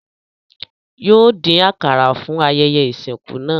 Yóò dín àkàrà fún ayẹyẹ ìsìnkú náà